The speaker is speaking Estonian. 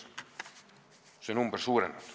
See number suureneb.